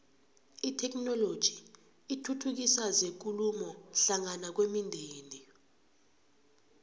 itheknoloji ithuthukisa zekulumo hlangana kwemindeni